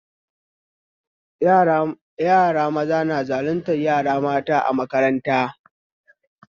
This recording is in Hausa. Yara maza na zaluntar yara mata a makaranta